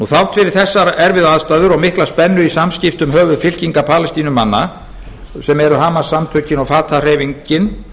þrátt fyrir þessar erfiðu aðstæður og miklu spennu í samskiptum höfuðfylkinga palestínumanna sem eru hamas samtökin og fatah hreyfingin